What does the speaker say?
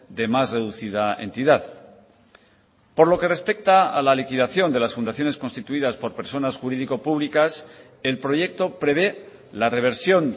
de más reducida entidad por lo que respecta a la liquidación de las fundaciones constituidas por personas jurídico públicas el proyecto prevé la reversión